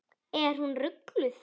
Er hún rugluð?